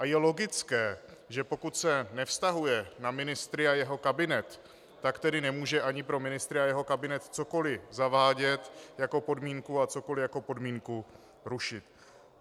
A je logické, že pokud se nevztahuje na ministry a jeho kabinet, tak tedy nemůže ani pro ministry a jeho kabinet cokoliv zavádět jako podmínku a cokoliv jako podmínku rušit.